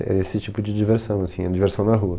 Era esse tipo de diversão, assim, diversão na rua.